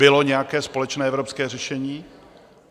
Bylo nějaké společné evropské řešení?